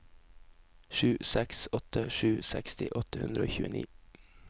sju seks åtte sju seksti åtte hundre og tjueni